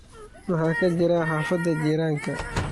maxaa ka jira xaafada jirank